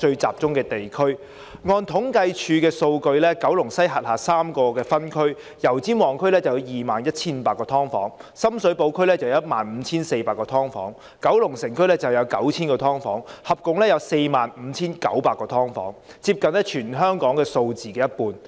按政府統計處的數據，九龍西轄下有3個分區，油尖旺區有 21,500 個"劏房"、深水埗區有 15,400 個、九龍城區有 9,000 個，共有 45,900 個"劏房"，接近全香港數字的一半。